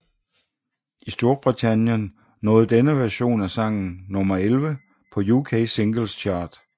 I Storbritannien nåede denne version af sangen nummer 11 på UK Singles Chart